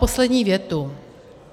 Poslední větu.